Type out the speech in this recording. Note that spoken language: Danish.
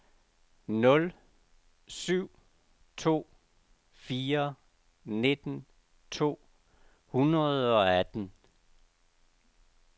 nul syv to fire nitten to hundrede og atten